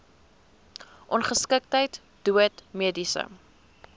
ongeskiktheid dood mediese